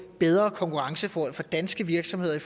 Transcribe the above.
bedre konkurrenceforhold for danske virksomheder i